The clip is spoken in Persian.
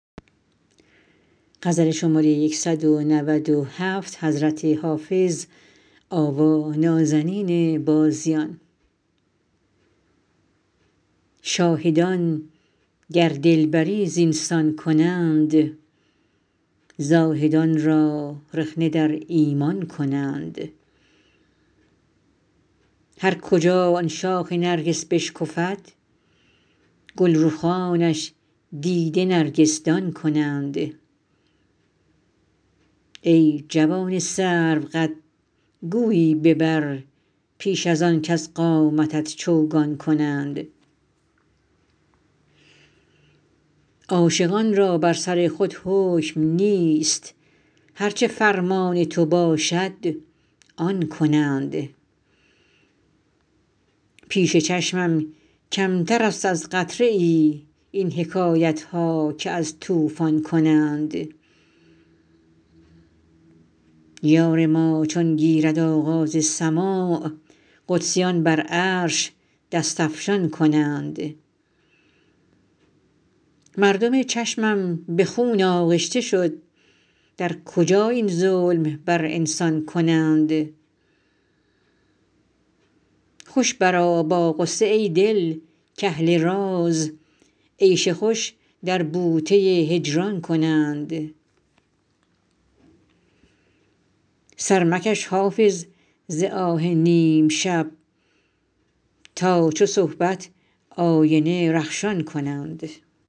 شاهدان گر دلبری زین سان کنند زاهدان را رخنه در ایمان کنند هر کجا آن شاخ نرگس بشکفد گل رخانش دیده نرگس دان کنند ای جوان سروقد گویی ببر پیش از آن کز قامتت چوگان کنند عاشقان را بر سر خود حکم نیست هر چه فرمان تو باشد آن کنند پیش چشمم کمتر است از قطره ای این حکایت ها که از طوفان کنند یار ما چون گیرد آغاز سماع قدسیان بر عرش دست افشان کنند مردم چشمم به خون آغشته شد در کجا این ظلم بر انسان کنند خوش برآ با غصه ای دل کاهل راز عیش خوش در بوته هجران کنند سر مکش حافظ ز آه نیم شب تا چو صبحت آینه رخشان کنند